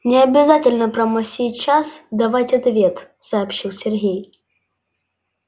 не обязательно прямо сейчас давать ответ сообщил сергей